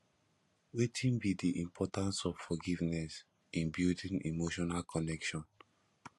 wetin be di importance of forgiveness in building emotional connection